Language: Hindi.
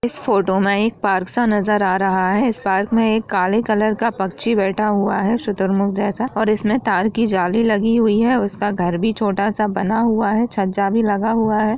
फोटो में एक पार्क का सा नजर आ रहा है इस पार्क में एक काले कलर का पक्षी बैठा हुआ है शुतुरमुर्ग के जैसा और इसमें तार की जाली लगी हुई है उसका घर भी छोटा सा बना हुआ है छज्जा भी लगा हुआ है।